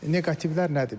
Neqativlər nədir?